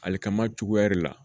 Ale kama cogoya de la